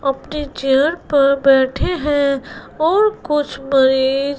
अपने चेयर पर बैठें हैं और कुछ मरीज--